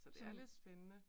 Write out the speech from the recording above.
Så det er lidt spændende